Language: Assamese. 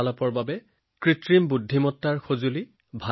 মই তেওঁলোকৰ লগত কথা পাতিবলৈ কৃত্ৰিম বুদ্ধিমত্তাৰ সহায় ললোঁ